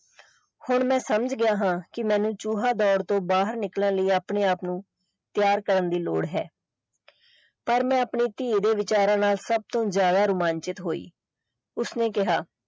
ਹੁਣ ਮੈਂ ਸਮਝ ਗਿਆ ਹਾਂ ਕਿ ਮੈਨੂੰ ਚੂਹਾ ਦੌੜ ਚੋ ਬਾਹਰ ਨਿਕਲਣ ਲਈ ਆਪਣੇ ਆਪ ਨੂੰ ਤਿਆਰ ਕਰਨ ਦੀ ਲੋੜ ਹੈ ਪਰ ਮੈਂ ਆਪਣੀ ਧੀ ਦੇ ਵਿਚਾਰਾਂ ਨਾਲ ਸਬ ਤੋਂ ਜ਼ਿਆਦਾ ਰੋਮਾਂਚਿਤ ਹੋਈ ਉਸਨੇ ਕਿਹਾ।